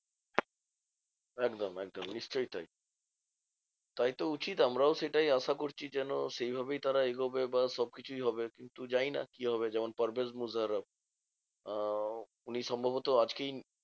একদম একদম নিশ্চই তাই। তাই তো উচিত আমরাও সেটাই আশা করছি যেন সেইভাবেই তারা এগোবে বা সবকিছুই হবে। কিন্তু জানিনা কি হবে? যেমন পারভেজ মুশারফ আহ উনি সম্ভবত আজকেই